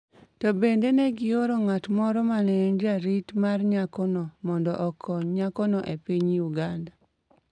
to bende ne gioro ng’at moro mane en jarit e mar nyakono mondo okony nyakono e piny Uganda.